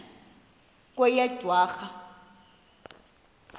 kweyedwarha